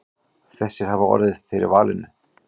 Þessir hafi orðið fyrir valinu.